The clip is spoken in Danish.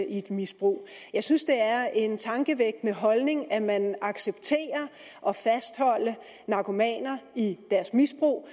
et misbrug jeg synes det er en tankevækkende holdning at man accepterer at fastholde narkomaner i deres misbrug